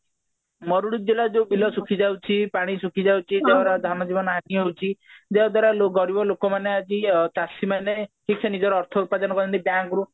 ମରୁଡି ବିଲ ଯୋଉ ବିଲ ଶୁଖି ଯାଉଛି ପାଣି ଶୁଖି ଯାଉଛି ତାଙ୍କର ଧାନ ବିଲ ହଉଛି ଯାହାଦ୍ୱାରା ଗରିବ ଲୋକ ମାନେ ଆଜି ଚାଷୀ ମାନେ କିଛି ନିଜ ଅର୍ଥ ଉତ୍ପାଦନ କରନ୍ତି bank ରୁ